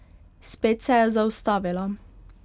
Spet se je zaustavila.